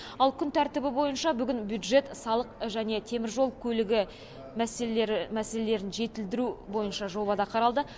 ал күн тәртібі бойынша бүгін бюджет салық және теміржол көлігі мәселелері мәселелерін жетілдіру бойынша жоба да қаралды